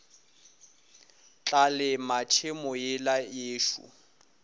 tla lema tšhemo yela yešo